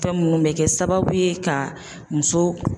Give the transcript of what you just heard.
Fɛn minnu bɛ kɛ sababu ye ka muso